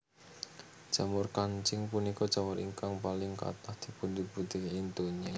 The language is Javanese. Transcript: Jamur kancing punika jamur ingkang paling kathah dipunbudidayakaken ing donya